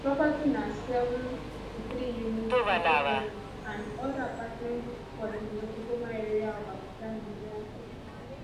di property na 753 units of duplexes and oda apartments for di lokogoma area of abuja nigeria capital